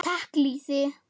Taka lýsi!